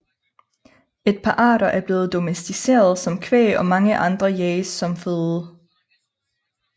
Et par arter er blevet domesticerede som kvæg og mange andre jages som føde